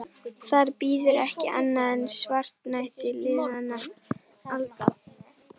Þar bíður ekki annað en svartnætti liðinna alda.